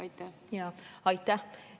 Aitäh!